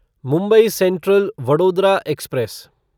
Mumbai central Vadodara express